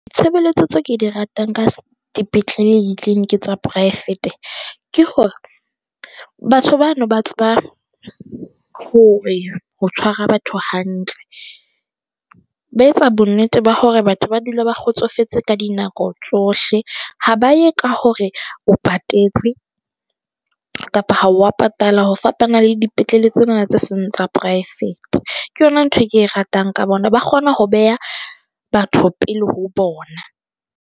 Tshebeletso tse ke di ratang ka dipetlele le clinic tsa poraefete. Ke hore batho bano ba tseba hore ho tshwara batho hantle, ba etsa bonnete ba hore batho ba dula ba kgotsofetse ka dinako tsohle, ha ba ye ka hore o patetse kapa ha wa patala. Ho fapana le dipetlele tsena tse seng tsa poraefete ke yona ntho e ke e ratang ka bona, ba kgona ho beha batho pele ho bona.